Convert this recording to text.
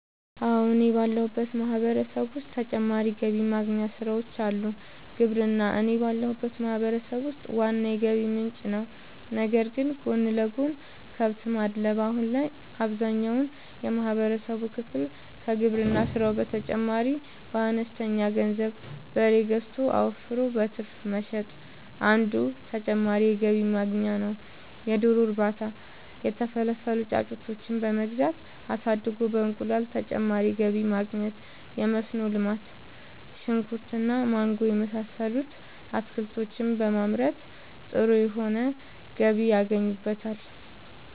አወ እኔ ባለሁበት ማህበረሰብ ዉስጥ ተጨማሪ ገቢ ማግኛ ስራወች አሉ። ግብርና እኔ ባለሁበት ማህበረሰብ ውስጥ ዋና የገቢ ምንጭ ነዉ ነገር ግን ጎን ለጎን :- ከብት ማድለብ :- አሁን ላይ አብዛኛውን የማህበረሰብ ክፍል ከግብርና ስራው በተጨማሪ በአነስተኛ ገንዘብ በሬ ገዝቶ አወፍሮ በትርፍ መሸጥ አንዱ ተጨማሪ የገቢ ማግኛ ነዉ የዶሮ እርባታ:- የተፈለፈሉ ጫጩቶችን በመግዛት አሳድጎ በእንቁላል ተጨማሪ ገቢ ማግኘት የመስኖ ልማት :-ሽንኩርት እና ማንጎ የመሳሰሉት አትክልቶችን በማምረት ጥሩ የሆነ ገቢ ያገኙበታል